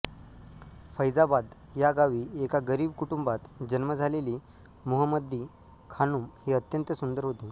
फैजाबाद या गावी एका गरिब कुटुंबात जन्म झालेली मुहम्मदी खानुम ही अत्यंत सुंदर होती